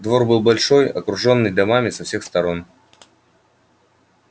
двор был большой окружённый домами со всех сторон